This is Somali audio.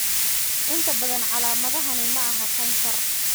Inta badan, calaamadahani maaha kansar.